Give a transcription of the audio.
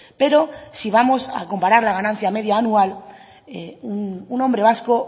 pero si vamos a comparar la ganancia media anual un hombre vasco